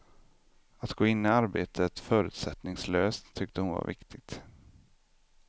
Att gå in i arbetet förutsättningslöst tyckte hon var viktigt.